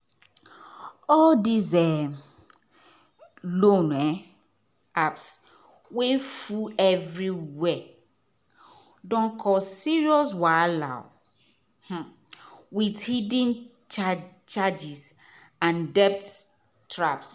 all these um loan um apps wey full everywhere don cause serious wahala um with hidden charges and debt traps.